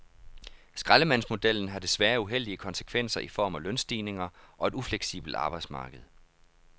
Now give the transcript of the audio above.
Skraldemandsmodellen har desværre uheldige konsekvenser i form af lønstigninger og et ufleksibelt arbejdsmarked.